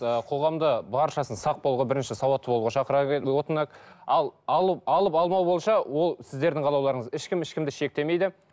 ы қоғамда баршасын сақ болуға бірінші сауатты болуға шақырар ал алу алып алмау бойынша ол сіздердің қалауларыңыз ешкім ешкімді шектемейді